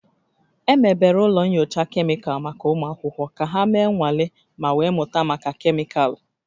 Emebere ụlọ nyocha kemịkalụ maka ụmụ akwụkwọ ka ha mee nnwale ma wee mụta maka kemịkalụ